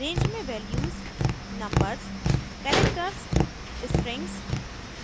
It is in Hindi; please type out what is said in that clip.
range में वैल्यूज नंबर्स कैरेक्टर्स स्ट्रिंग्स